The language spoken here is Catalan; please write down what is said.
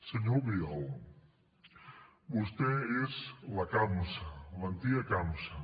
senyor albiol vostè és la campsa l’antiga campsa